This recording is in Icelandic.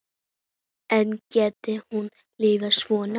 En gæti hún lifað svona?